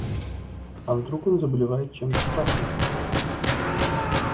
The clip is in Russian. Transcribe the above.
а вдруг он заболевает чем-то страшным